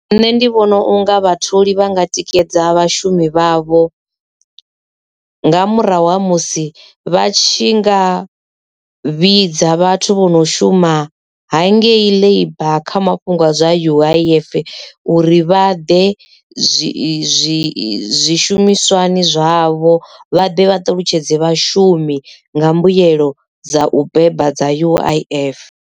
Nṋe ndi vhona unga vhatholi vhanga tikedza vhashumi vhavho nga murahu ha musi vha tshi nga vhidza vhathu vho no shumisa ha ngei labour kha mafhungo a zwa U_I_F uri vha ḓe zwishumiswani zwavho vha ḓe vhaṱalutshedza vhashumi nga mbuyelo dza u beba dza U_I_F.